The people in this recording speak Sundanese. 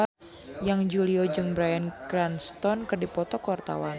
Yana Julio jeung Bryan Cranston keur dipoto ku wartawan